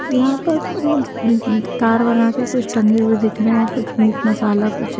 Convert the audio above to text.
यहां पर ताड़ बनाके कुछ टंगे हुए देख रहे है कुछ मीट मसाला कुछ--